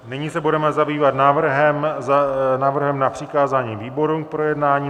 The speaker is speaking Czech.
Nyní se budeme zabývat návrhem na přikázání výborům k projednání.